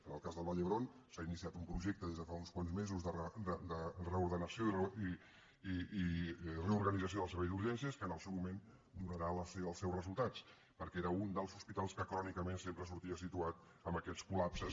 en el cas del vall d’hebron s’ha iniciat un projecte des de fa uns quants mesos de reordenació i reorganització del servei d’urgències que en el seu moment donarà els seus resultats perquè era un dels hospitals que crònicament sempre sortia situat amb aquests col·lapses